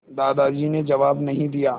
दादाजी ने जवाब नहीं दिया